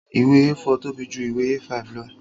Ìwé A4 tóbi ju ìwé A5 lọ